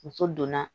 Muso donna